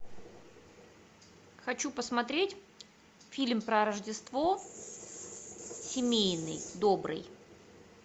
хочу посмотреть фильм про рождество семейный добрый